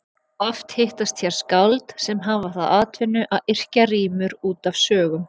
Oft hittast hér skáld sem hafa það að atvinnu að yrkja rímur út af sögum.